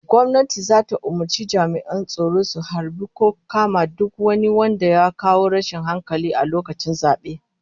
Gwamnati zata umurci jami'an tsaro su harbi ko kama duk wani wanda ya kawo rashin hankali a lokacin zabe